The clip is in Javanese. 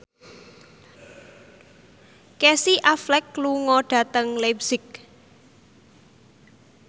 Casey Affleck lunga dhateng leipzig